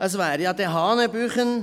Es wäre ja hanebüchen …